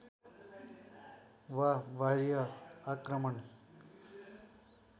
वा बाह्य आक्रमण